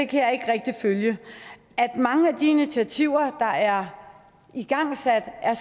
kan jeg ikke rigtig følge at mange af de initiativer der er igangsat er